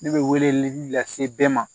Ne bɛ weleli lase bɛɛ ma